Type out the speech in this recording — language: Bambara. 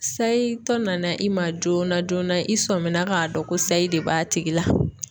Sayi tɔ nana i ma joona joona i sɔmina k'a dɔn ko sayi de b'a tigi la.